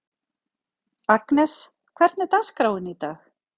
Agnes, hvernig er dagskráin í dag?